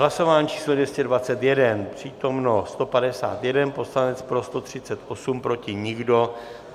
Hlasování číslo 229, přítomen 151 poslanec, pro 138, proti nikdo.